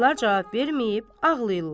Qızlar cavab verməyib ağlayırlar.